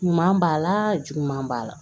Ɲuman b'a la juguman b'a la